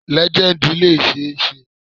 Lejendi le ṣee ṣe